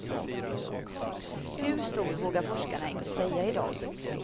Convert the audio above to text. Hur stor vågar forskarna inte säga i dag.